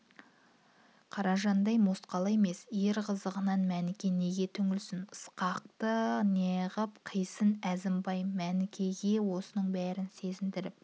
қаражандай мосқал емес ер қызығынан мәніке неге түңілсін ысқақхы неғып қисын әзімбай мәнікеге осының бәрін сездіріп